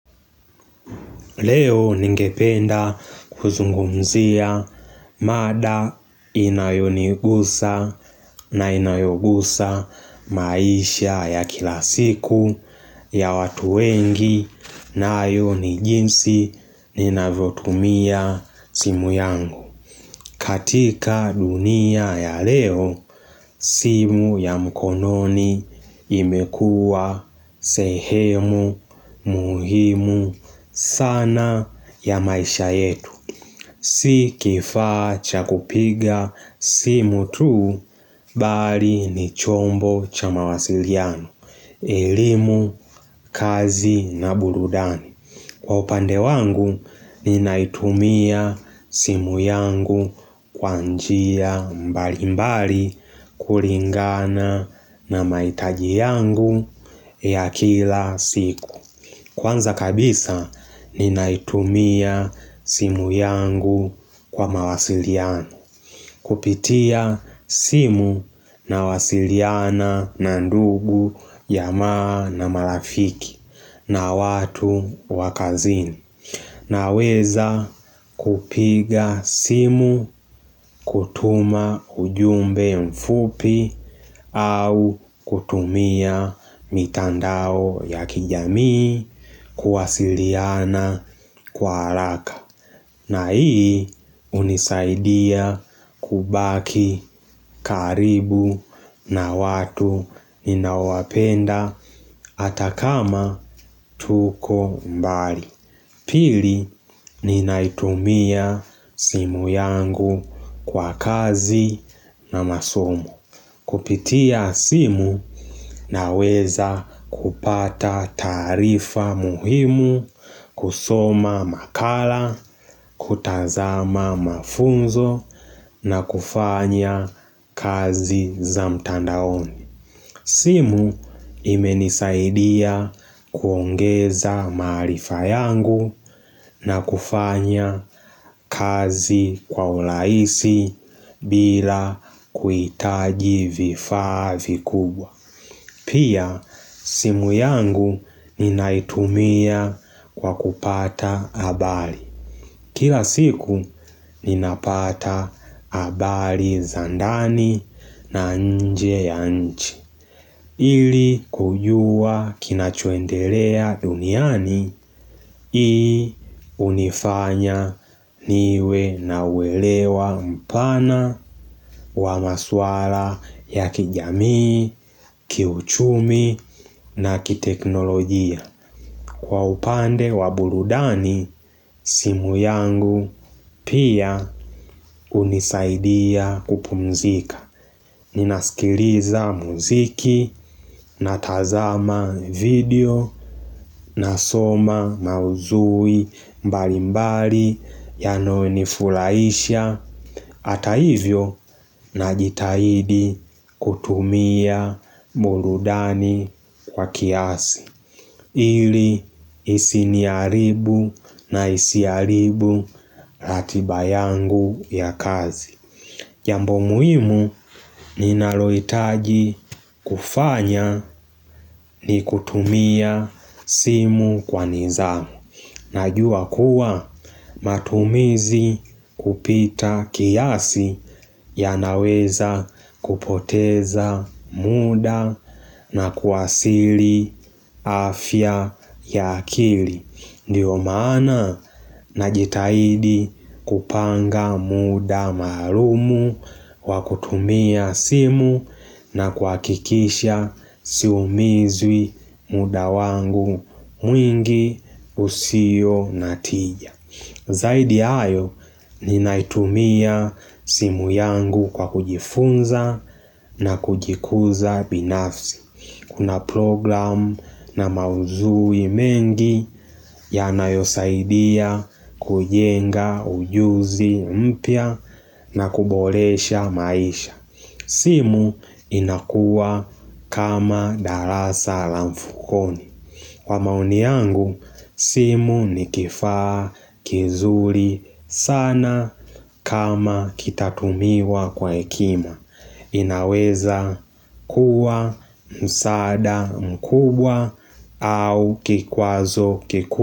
Leo ningependa kuzungumzia mada inayonigusa na inayogusa maisha ya kila siku ya watu wengi nayo ni jinsi ninavyotumia simu yangu. Katika dunia ya leo, simu ya mkononi imekuwa sehemu muhimu sana ya maisha yetu. Si kifaa cha kupiga simu tuu, bali ni chombo cha mawasiliano, elimu, kazi na burudani. Kwa upande wangu, ninaitumia simu yangu kwa njia mbali mbali kulingana na mahitaji yangu ya kila siku. Kwanza kabisa, ninaitumia simu yangu kwa mawasiliano. Kupitia simu nawasiliana na ndugu ya jamaa na marafiki na watu wa kazini. Naweza kupiga simu kutuma ujumbe mfupi au kutumia mitandao ya kijamii kuwasiliana kwa haraka. Na hii hunisaidia kubaki karibu na watu ninaowapenda hata kama tuko mbali. Pili ninaitumia simu yangu kwa kazi na masomo. Kupitia simu naweza kupata taarifa muhimu, kusoma makala, kutazama mafunzo na kufanya kazi za mtandaoni. Simu imenisaidia kuongeza maarifa yangu na kufanya kazi kwa urahisi bila kuhitaji vifaa vikubwa. Pia simu yangu ninaitumia kwa kupata habari. Kila siku ninapata habari za ndani na nje ya nchi. Ili kujua kinachoendelea duniani, hii unifanya niwe na uelewa mpana wa maswala ya kijamii, kiuchumi na kiteknolojia. Kwa upande wa burudani, simu yangu pia hunisaidia kupumzika. Ninaskiliza muziki natazama video nasoma maudhui mbali mbali yanayonifurahisha Hata hivyo najitahidi kutumia burudani kwa kiasi ili isiniharibu na isiharibu ratiba yangu ya kazi Jambo muhimu ninalohitaji kufanya ni kutumia simu kwa nidhamu. Najua kuwa matumizi kupita kiasi yanaweza kupoteza muda na kuwasili afya ya akili. Ndiyo maana najitahidi kupanga muda maalumu wa kutumia simu na kuhakikisha siumizwi muda wangu mwingi usionatija. Zaidi ya hayo ninaitumia simu yangu kwa kujifunza na kujikuza binafsi. Kuna program na maudhui mengi yanayosaidia kujenga ujuzi mpya na kuboresha maisha simu inakuwa kama darasa la mfukoni Kwa maoni yangu, simu ni kifaa kizuri sana kama kitatumiwa kwa hekima inaweza kuwa, msaada, mkubwa au kikwazo kikubwa.